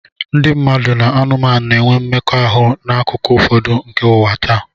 Ndị mmadụ na anụmanụ na-enwe mmekọahụ n'akụkụ ụfọdụ nke ụwa taa.